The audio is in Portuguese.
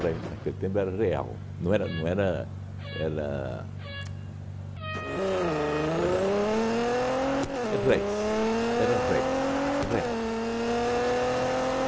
naquele tempo era real, não era não era... Era era é réis, era réis, real, né